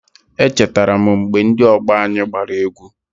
Echetara m mgbe ndị ọgbọ anyị gbara egwu.